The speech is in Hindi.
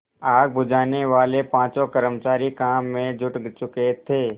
आग बुझानेवाले पाँचों कर्मचारी काम में जुट चुके थे